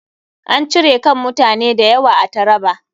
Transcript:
An cire kan mutane da yawa a Traba.